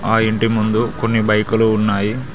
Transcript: ఆ ఇంటి ముందు కొన్ని బైకులు ఉన్నాయి.